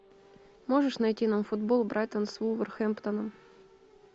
можешь найти нам футбол брайтон с вулверхэмптоном